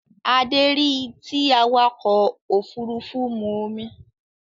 Adé rí tí awakọ̀ òfurufú mu omi